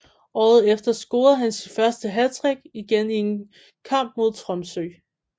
Året efter scorede han sit første hattrick igen i en kmap mod Tromsø